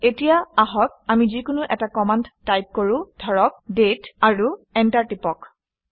এতিয়া আহক আমি যিকোনো এটা কমাণ্ড টাইপ কৰোঁ ধৰক - দাঁতে আৰু এণ্টাৰ টিপি দিওঁ